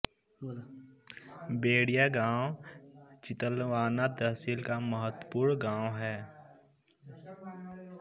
वेड़िया गाँव चितलवाना तहसील का महत्वपूर्ण गाँव हैं